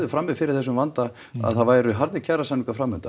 frami fyrir þessum vandi að það væru harðir kjarasamningar